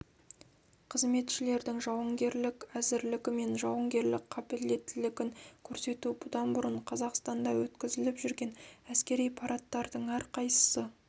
қызметшілердің жауынгерлік әзірлігі мен жауынгерлік қабілеттілігін көрсету бұдан бұрын қазақстанда өткізіліп жүрген әскери парадтардың әрқайсысы